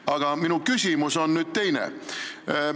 Aga minu küsimus on teine.